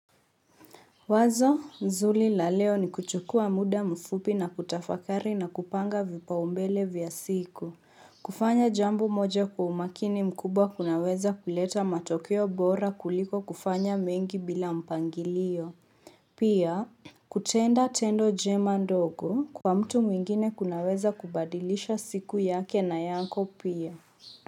Wazo, nzuri la leo ni kuchukua muda mfupi na kutafakari na kupanga vipaumbele vya siku. Kufanya jambo moja kwa umakini mkubwa kunaweza kuleta matokeo bora kuliko kufanya mengi bila mpangilio. Pia, kutenda tendo jema ndogo kwa mtu mwingine kunaweza kubadilisha siku yake na yako pia.